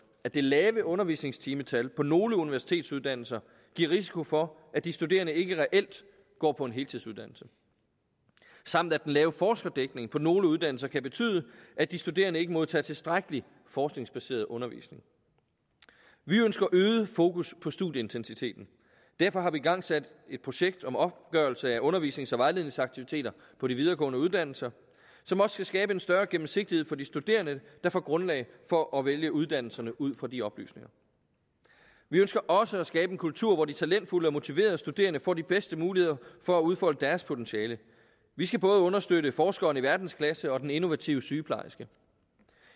at det lave undervisningstimetal på nogle universitetsuddannelser giver risiko for at de studerende ikke reelt går på en heltidsuddannelse samt at den lave forskerdækning på nogle uddannelser kan betyde at de studerende ikke modtager tilstrækkelig forskningsbaseret undervisning vi ønsker øget fokus på studieintensiteten derfor har vi igangsat et projekt om opgørelse af undervisnings og vejledningsaktiviteter på de videregående uddannelser som også skal skabe en større gennemsigtighed for de studerende der får grundlag for at vælge uddannelserne ud fra de oplysninger vi ønsker også at skabe en kultur hvor de talentfulde og motiverede studerende får de bedste muligheder for at udfolde deres potentiale vi skal både understøtte forskeren i verdensklasse og den innovative sygeplejerske